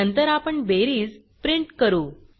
नंतर आपण बेरीज प्रिंट करू